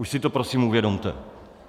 Už si to prosím uvědomte.